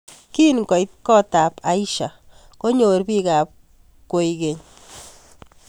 Kingoit kotab Aisha konyor bikap kwekeny